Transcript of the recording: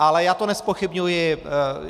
Ale já to nezpochybňuji.